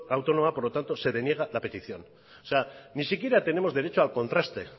autónoma por lo tanto se deniega la petición o sea ni siquiera tenemos derecho al contraste